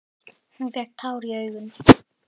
Hún fékk tár í augun.